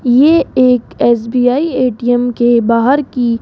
ये एक एस_बी_आई ए_टी_एम के बाहर की--